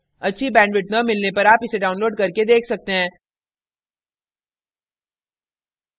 अच्छी bandwidth न मिलने पर आप इसे download करके देख सकते हैं